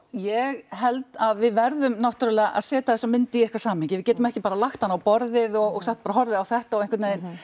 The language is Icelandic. ég held að við verðum náttúrulega að setja þessa mynd í eitthvað samhengi við getum ekki bara lagt hana á borðið og sagt bara horfið á þetta og einhvern veginn